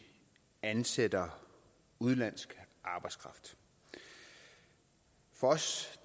ansætter udenlandsk arbejdskraft for os